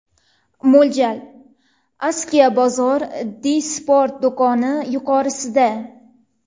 Mo‘ljal: Askiya bozor, Di-Sport do‘koni yuqorisida.